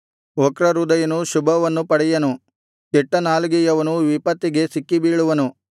ವಕ್ರ ಹೃದಯನು ಶುಭವನ್ನು ಪಡೆಯನು ಕೆಟ್ಟ ನಾಲಿಗೆಯವನು ವಿಪತ್ತಿಗೆ ಸಿಕ್ಕಿಬೀಳುವನು